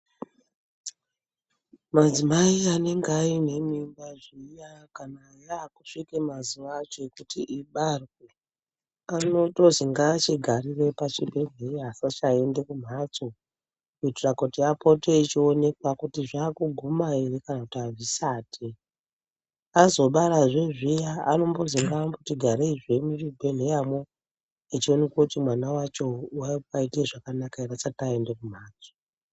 Madzimai anenge aine mimba zviya kana yakusvika mazuva acho ekuti ibarwe anotozi ngaachigarire pachibhedhleya asasaende kumhatso. Kuitira kuti apote achionekwa kuti zvakuguma ere kana kuti hazvisati. Azobarazve zviya anombozi ngaati gareizve muzvibhedhleyamo echionekwe kuti mwana vacho vabaite zvakanaka ere asati aenda kumhatso.